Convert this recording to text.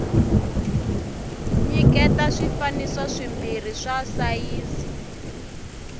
nyiketa swifaniso swimbirhi swa sayizi